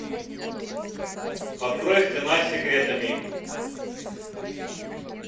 открой стена с секретами